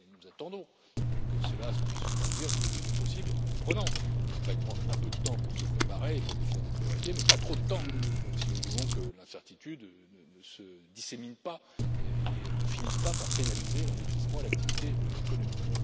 Nous attendons que cela puisse se produire le plus tôt possible, en comprenant qu'il faille prendre un peu de temps pour se préparer, pour définir des priorités, mais pas trop de temps si nous voulons que l'incertitude ne se dissémine pas et ne finisse pas par pénaliser l'investissement et l'activité économique.